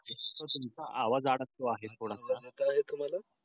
तुमचा आवाज अडकतो आहे थोडासा